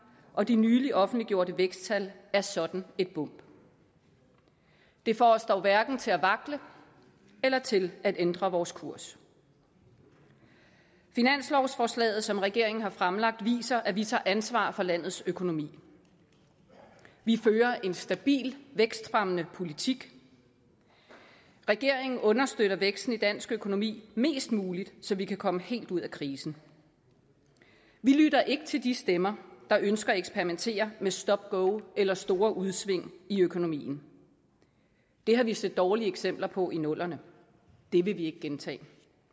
og de nyligt offentliggjorte væksttal er sådan et bump det får os dog hverken til at vakle eller til at ændre vores kurs finanslovsforslaget som regeringen har fremlagt viser at vi tager ansvar for landets økonomi vi fører en stabil vækstfremmende politik regeringen understøtter væksten i dansk økonomi mest muligt så vi kan komme helt ud af krisen vi lytter ikke til de stemmer der ønsker at eksperimentere med stop go eller store udsving i økonomien det har vi set dårlige eksempler på i nullerne det vil vi ikke gentage